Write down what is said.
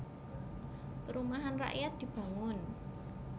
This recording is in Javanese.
Perumahan rakyat dibangun